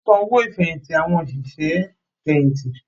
Wọ́n San owó ìfẹ̀yìntì àwọn òṣìṣẹ́ fẹ̀yìntì